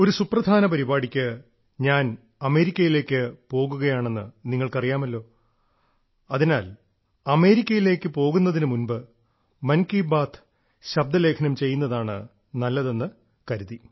ഒരു സുപ്രധാന പരിപാടിക്ക് ഞാൻ അമേരിക്കയിലേക്ക് പോവുകയാണെന്ന് നിങ്ങൾക്കറിയാമല്ലോ അതിനാൽ അമേരിക്കയിലേക്ക് പോകുന്നതിനു മുൻപ് മൻ കി ബാത്ത് ശബ്ദലേഖനം ചെയ്യുന്നതാണ് നല്ലതെന്ന് കരുതി